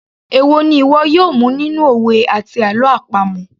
Èwo ni ìwọ yóò mu nínú òwe àti àlọ́ àpamọ̀